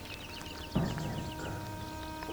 поставь кавер